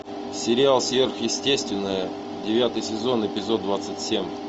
сериал сверхъестественное девятый сезон эпизод двадцать семь